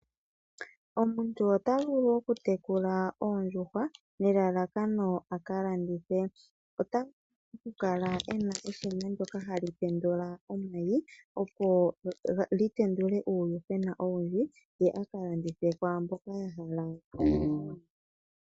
Omuntu ota vulu okutekula oondjuhwa nelalakano a ka landithe, ota vulu okukala e na eshina ndyoka hali tendula omayi , opo li tendule uuyuhwena owindji ye akala landithe kwaa mboka ya hala.